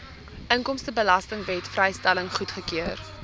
inkomstebelastingwet vrystelling goedgekeur